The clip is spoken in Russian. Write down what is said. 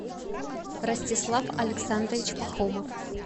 ростислав александрович пахомов